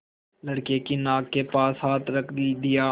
लड़के की नाक के पास हाथ रख दिया